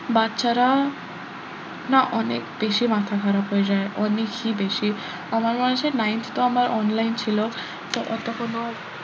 বাচ্চারা না অনেক বেশি মাথা খারাপ হয়ে যায় অনেকই বেশি আমার ninth তো আমার online ছিল তো অত কোনো,